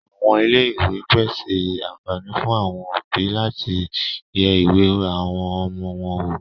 Àwọn Ilé ìwé pèse àǹfààní fún àwọn òbí láti yẹ ìwé àwọn ọmọ wọn wò.